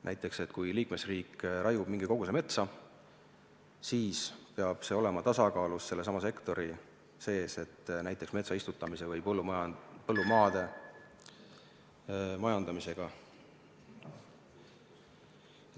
Näiteks kui liikmesriik raiub mingi koguse metsa, siis peab see olema tasakaalus sellesama sektori sees näiteks metsa istutamise või põllumaa majandamisega.